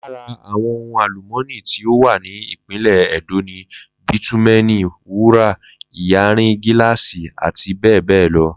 Lara Àwo̩n ohun àlùmó̩nì tí ó wà ní ìpínlè̩ E̩dó ni bítúmé̩è̩nì, wúrà, iyanrìn gíláàsì àti bé̩è̩ lo̩